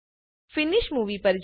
finish Movieપર જાવ